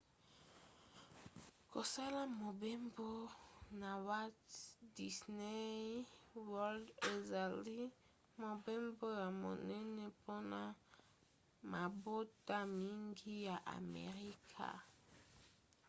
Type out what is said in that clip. kosala mobembo na walt disney world ezali mobembo ya monene mpona mabota mingi ya amerika